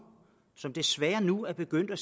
som desværre nu er begyndt at